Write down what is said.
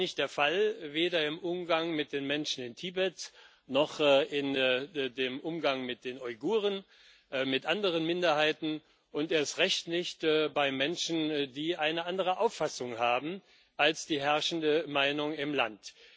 Das ist heute nicht der Fall weder im Umgang mit den Menschen in Tibet noch im Umgang mit den Uiguren und anderen Minderheiten, und erst recht nicht bei Menschen, die eine andere Auffassung haben als die herrschende Meinung im Land.